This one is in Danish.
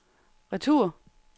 retur